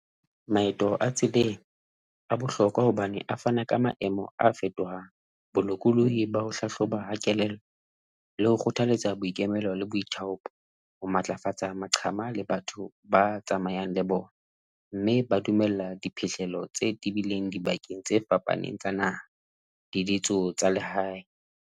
Maeto a tseleng a bohlokwa hobane a fana ka maemo a fetohang, bolokolohi ba ho hlahloba ha kelello, le ho kgothaletsa boikemelo le boithaopo ho matlafatsa maqhama le batho ba tsamayang le bona mme ba dumella diphihlello tse tebileng dibakeng tse fapaneng tsa naha di tsa lehae.